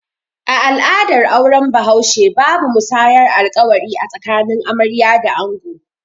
A al'adar auren bahaushe, babu musayar alƙawari a tsakanin amarya da ango